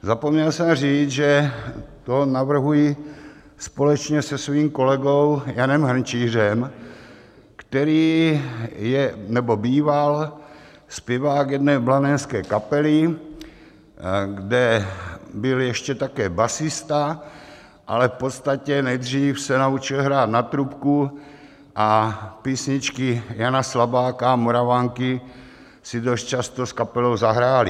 Zapomněl jsem říct, že to navrhuji společně se svým kolegou Janem Hrnčířem, který je nebo býval zpěvákem jedné blanenské kapely, kde byl ještě také basista, ale v podstatě nejdřív se naučil hrát na trubku a písničky Jana Slabáka a Moravanky si dost často s kapelou zahráli.